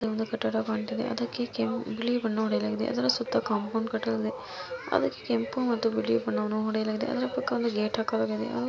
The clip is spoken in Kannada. ಇಲ್ಲಿ ಒಂದು ಕಟ್ಟಡ ಕಾಣ್ತಾ ಇದೆ ಅದಕ್ಕೆ ಕೆಂಪು ಬಿಳಿ ಬಣ್ಣ ಹೊಡೆಯಲಾಗಿದೆ ಅದರ ಸುತ್ತ ಕಾಂಪೌಂಡ್ ಕಟ್ಟಲಾಗಿದೆ ಅದಕ್ಕೆ ಕೆಂಪು ಮತ್ತು ಬಿಳಿ ಬಣ್ಣ ಹೊಡೆಯಲಾಗಿದೆ ಅದರ ಪಕ್ಕ ಒಂದು ಗೇಟ್ ಹಾಕಿದ್ದಾರೆ